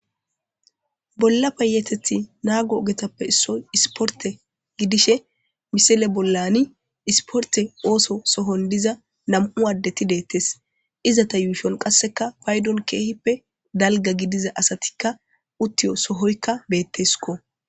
Bola payatethi nago ogetappe issiya issiporite gidishe misile bolani issiporite ootho sohoni diza namu adeti deteesi ezeta yushoni qasekka payiddoni kehippe daliga gidiza asatikka utiyo sohoyikka betesikko